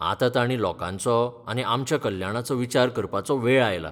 आतां ताणीं लोकांचो आनी आमच्या कल्याणाचो विचार करपाचो वेळ आयला.